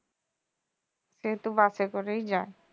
সেহেতু bus এ করেই যাই